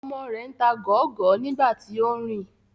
Ọmọ rẹ ń ta gọọgọ nigbati o nrin